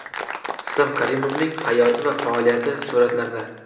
Islom Karimovning hayoti va faoliyati suratlarda.